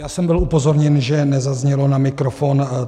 Já jsem byl upozorněn, že nezazněl na mikrofon.